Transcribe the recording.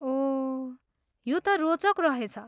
ओह, यो त रोचक रहेछ।